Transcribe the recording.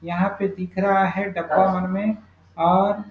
यहाँ पे दिख रहा है डब्बा वन में और --